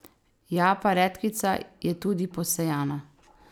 Ja, pa redkvica je tudi posejana.